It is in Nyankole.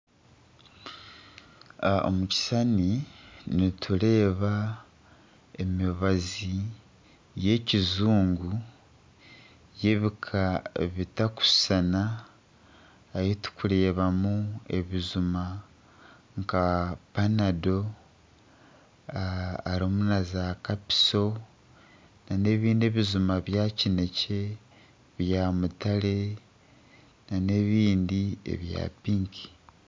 Omukishushani nitureeba emibazi y'ekijungu y'ebika bitari kushushana. Ahi turi kureeba mu ebijuma nka panado, harimu na za kapiso na n'ebindi ebijuma ebya kinekye, ebya mutare nana ebindi ebya pinki.